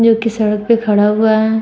जो कि सड़क पर खड़ा हुआ है।